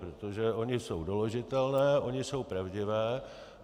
Protože ony jsou doložitelné, ony jsou pravdivé.